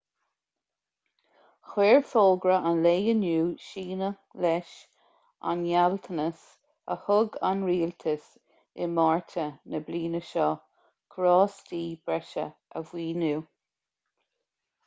chuir fógra an lae inniu síneadh leis an ngealltanas a thug an rialtas i márta na bliana seo carráistí breise a mhaoiniú